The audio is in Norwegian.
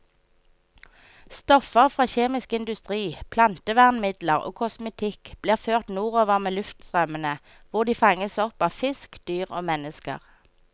Stoffer fra kjemisk industri, plantevernmidler og kosmetikk blir ført nordover med luftstrømmene, hvor de fanges opp av fisk, dyr og mennesker.